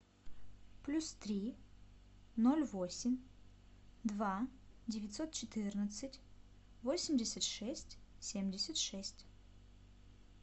плюс три ноль восемь два девятьсот четырнадцать восемьдесят шесть семьдесят шесть